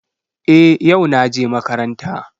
Eh, yau naje makaranta.